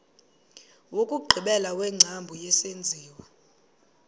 wokugqibela wengcambu yesenziwa